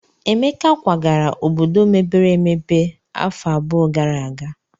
Emeka kwagara obodo mepere emepe afọ abụọ gara aga.